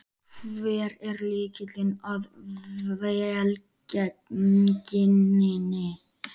Hver er lykillinn að velgengninni?